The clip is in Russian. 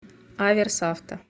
аверс авто